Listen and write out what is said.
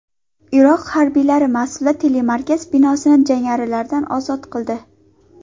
Iroq harbiylari Mosulda telemarkaz binosini jangarilardan ozod qildi.